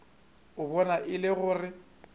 a bona e le gore